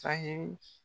Sahɛli